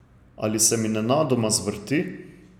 Ali se mi nenadoma zvrti?